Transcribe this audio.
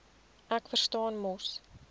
ek verstaan mos